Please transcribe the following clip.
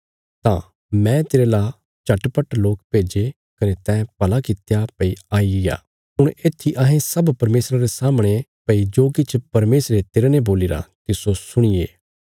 तां मैं तेरे ला झटपट लोक भेजे कने तैं भला कित्या भई आई गया हुण येत्थी अहें सब परमेशरा रे सामणे भई जो किछ परमेशरे तेरने बोलीरा तिस्सो सुणीये